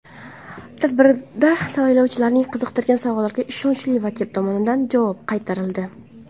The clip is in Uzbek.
Tadbirda saylovchilarni qiziqtirgan savollarga ishonchli vakil tomonidan javob qaytarildi.